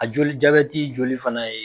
A joli joli fana ye